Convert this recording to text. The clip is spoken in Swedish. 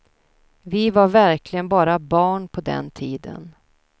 Vi var verkligen bara barn på den tiden.